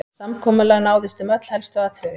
Samkomulag náðist um öll helstu atriði